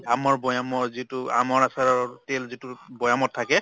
আমৰ বৈয়ামৰ যিটো আমৰ আচাৰৰ তেল যিটোৰ বৈয়ামত থাকে